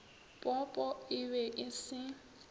popo e be e se